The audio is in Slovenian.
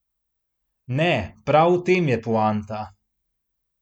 Ne, prav v tem je poanta!